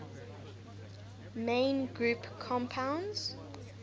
main group compounds